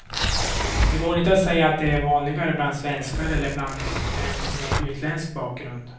Det går inte att säga att det är vanligare bland svenskar eller bland dem med utländsk bakgrund.